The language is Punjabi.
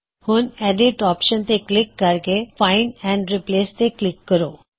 ਹੁਣ ਐਡਿਟ ਆਪਸ਼ਨ ਤੇ ਕਲਿੱਕ ਕਰਕੇ ਫਾਇਨ੍ਡ ਐਂਡ ਰਿਪ੍ਲੇਸ ਤੇ ਕਲਿੱਕ ਕਰੋ